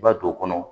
I b'a don o kɔnɔ